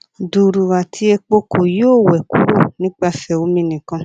duru ati epo ko yoo wẹ kuro nipasẹ omi nikan